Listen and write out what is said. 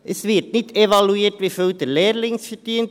Es wird nicht evaluiert, wie viel der Lehrling verdient;